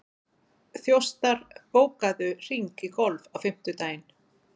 Þjóstar, bókaðu hring í golf á fimmtudaginn.